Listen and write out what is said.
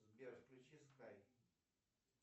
сбер включи скайп